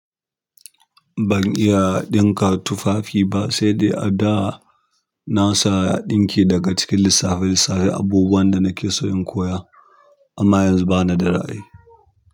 Ban iya ɗinka tufafi ba, sai dai a da na sa ɗinki daga cikin lissafin lissafin abubuwan da nake so in koya amma yanzu bana da ra'ayi.